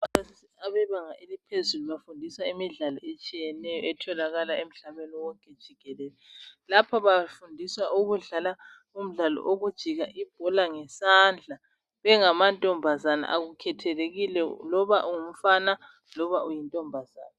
Abebanga eliphezulu bafundisa imidlalo etshiyeneyo etholakala emhlabeni wonke jikelele. Lapha bafundiswa umdlalo wokujika ibhola ngesandla bengamantombazana akukhethelekile loba ungumfana loba uyintombazana.